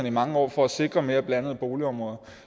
i mange år for at sikre mere blandede boligområder